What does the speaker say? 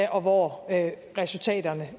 og hvor resultaterne